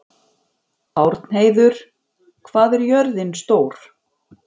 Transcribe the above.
Árnheiður, hvað er jörðin stór?